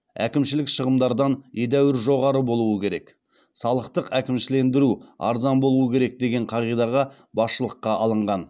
әкімшілік шығындардан едәуір жоғары болуы керек салықтық әкімшілендіру арзан болуы керек деген қағидаға басшылыққа алынған